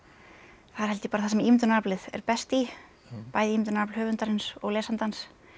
það er held ég bara það sem ímyndunaraflið er best í bæði ímyndunarafl höfundarins og lesandans